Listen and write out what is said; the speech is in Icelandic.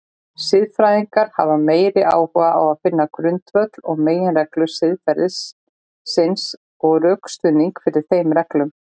Siðfræðingar hafa meiri áhuga á finna grundvöll og meginreglur siðferðisins og rökstuðning fyrir þeim reglum.